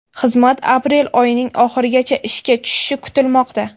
Xizmat aprel oyining oxirigacha ishga tushishi kutilmoqda.